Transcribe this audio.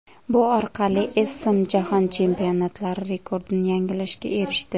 Bu orqali Essam Jahon Chempionatlari rekordini yangilashga erishdi.